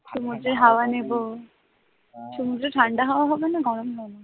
সমুদ্রের হাওয়া নেব, সমুদ্রের ঠাণ্ডা হাওয়া হবে না গরম লাগবে?